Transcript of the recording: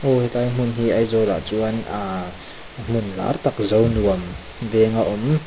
aw helai hmun hi aizawl ah chuan ah hmun lar tam zonuam veng a awm.